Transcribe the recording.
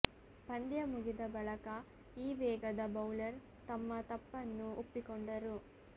ಪಂದ್ಯ ಮುಗಿದ ಬಳಕ ಈ ವೇಗದ ಬೌಲರ್ ತಮ್ಮ ತಪ್ಪನ್ನು ಒಪ್ಪಿಕೊಂಡರು